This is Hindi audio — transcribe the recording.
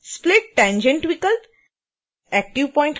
split tangent विकल्प